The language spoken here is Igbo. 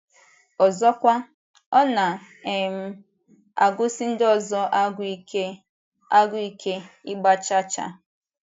Ọzọkwa, ọ na um - agụsi ndị ọzọ agụụ ike, agụụ ike, ịgba chaa chaa.